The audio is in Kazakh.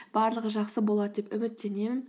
барлығы жақсы болады деп үміттенемін